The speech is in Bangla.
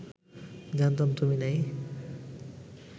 জানতাম তুমি নেই